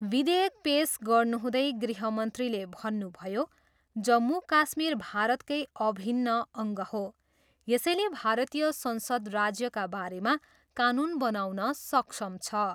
विधेयक पेस गर्नुहुँदै गृहमन्त्रीले भन्नुभयो, जम्मू काश्मीर भारतकै अभिन्न अङ्ग हो, यसैले भारतीय संसद राज्यका बारेमा कानुन बनाउन सक्षम छ।